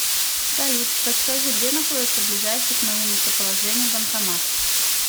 салют подскажи где находится ближайший к моему местоположению банкомат